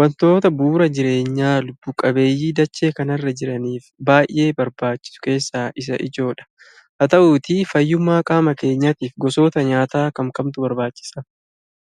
wantoota bu'uura jireenyaa lubbu-qabeeyyii dachee kanarra jiraniif baay'ee barbaachisu keessaa isa ijoo dha. Haa ta'uutii fayyummaa qaama keenyaatiif gosoota nyaataa kam kamtu barbaachisa?